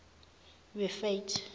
rifate